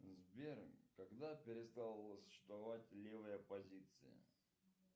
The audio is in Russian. сбер когда перестала существовать левая оппозиция